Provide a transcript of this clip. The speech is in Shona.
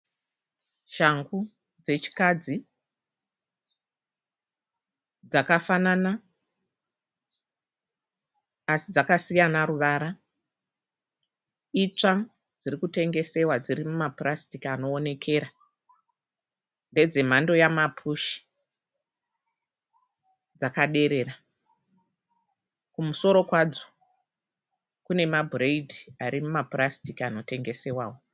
Shangu dzechikadzi dzakafanana asi dzakasiyana ruvara. Itsva dziri kutengesewa dziri mumapurasitiki anoonekerera. Ndedzemhando yamapushi. Dzakaderera. Kumusoro kwadzo kune mabhureidhi ari mumapurasitiki anotengesewawo.